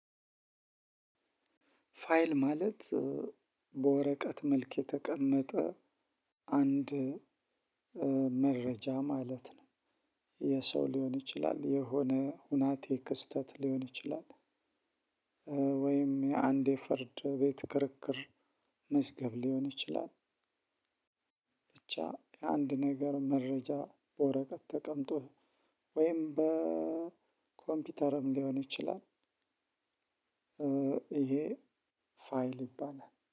ፋይል ማለት በወረቀት መልክ የተቀመጠ አንድ መረጃ ማለት ነው። የሰው ሊሆን ይችላል የሆነ ሁናቴ ክስተት ሊሆን ይችላል። ወይም የአንዴ ፍርድ ቤት ክርክር መዝገብ ሊሆን ይችላል። ብቻ የአንድ ነገር መረጃ ወረቀት ተቀምጦ ወይም በኮምፒውተርም ሊሆን ይችላል። ይሄ ፋይል ይባላል